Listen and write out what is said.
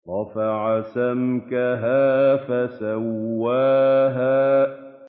رَفَعَ سَمْكَهَا فَسَوَّاهَا